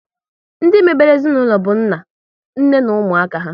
Ndị mebere ezinaụlọ bụ nna, nne na ụmụaka há